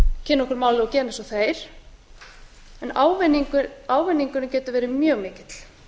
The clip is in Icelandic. kynna okkur málið og gera eins og þeir en ávinningurinn getur verið mjög mikill